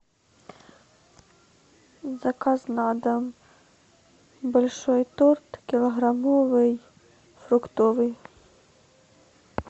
заказ на дом большой торт килограммовый фруктовый